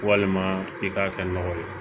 Walima i k'a kɛ nɔgɔ ye